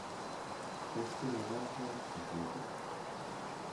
Tos kipe kaa sait sisit